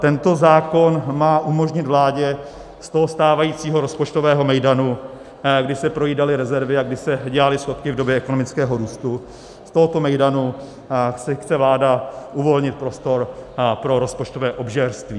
Tento zákon má umožnit vládě z toho stávajícího rozpočtového mejdanu, kdy se projídaly rezervy a kdy se dělaly schodky v době ekonomického růstu, z tohoto mejdanu si chce vláda uvolnit prostor pro rozpočtové obžerství.